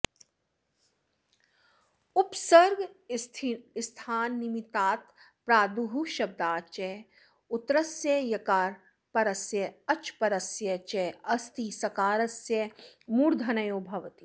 उपसर्गस्थान् निमित्तात् प्रादुस्शब्दाच् च उत्तरस्य यकारपरस्य अच्परस्य च अस्तिसकारस्य मूर्धन्यो भवति